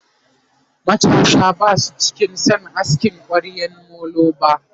matasa Basu cika San asking kwaryan molo ba